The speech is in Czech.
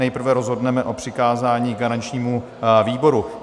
Nejprve rozhodneme o přikázání garančnímu výboru.